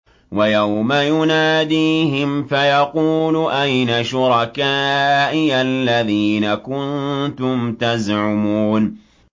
وَيَوْمَ يُنَادِيهِمْ فَيَقُولُ أَيْنَ شُرَكَائِيَ الَّذِينَ كُنتُمْ تَزْعُمُونَ